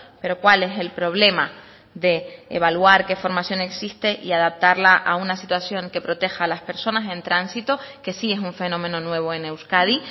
pero cuál es el problema de evaluar qué formación existe y adaptarla a una situación que proteja a las personas en tránsito que sí es un fenómeno nuevo en euskadi